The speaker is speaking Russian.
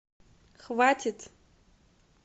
хватит